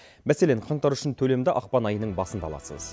мәселен қаңтар үшін төлемді ақпан айының басында аласыз